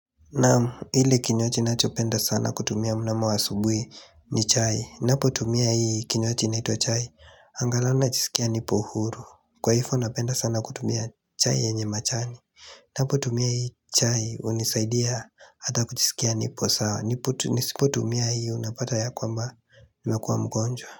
Naam hili kinywaji ninachopenda sana kutumia mnamo wa asubuhi ni chai. Ninapotumia hii kinywaji inaitwa chai Angalau najisikia nipo huru, kwa hivo napenda sana kutumia chai yenye majani Napotumia hii chai hunisaidia hata kujisikia nipo sawa, Nisipo tumia hii unapata ya kwamba nimekuwa mgonjwa.